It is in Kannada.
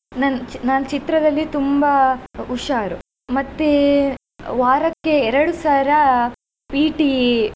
ನನ್ ನಾನ್ ಚಿತ್ರದಲಿ ತುಂಬಾ ಹುಷಾರು. ಮತ್ತೆ ವಾರಕ್ಕೆ ಎರಡು ಸರಾ PT .